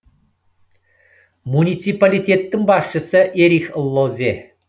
муниципалитеттің басшысы эрих лозе